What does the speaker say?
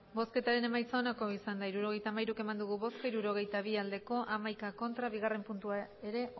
hirurogeita hamairu eman dugu bozka hirurogeita bi bai hamaika ez bigarren puntua ere